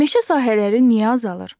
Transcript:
Meşə sahələri niyə azalır?